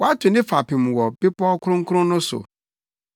Wato ne fapem wɔ bepɔw kronkron no so;